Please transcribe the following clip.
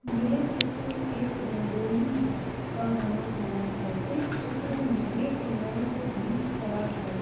यह चित्र एक रंगोली है का बना हुआ है इस चित्र में एक लैम्प भी खड़ा है।